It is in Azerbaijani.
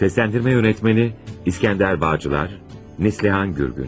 Sesləndirmə yönetmeni: İskəndər Bağcılar, Neslihan Gürgün.